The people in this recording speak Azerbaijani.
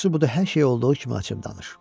Yaxşısı budur, hər şeyi olduğu kimi açıb danış.